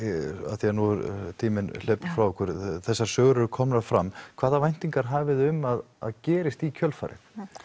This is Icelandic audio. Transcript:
af því að tíminn hleypur frá okkur þessar sögur eru komnar fram hvaða væntingar hafiði um að gerist í kjölfarið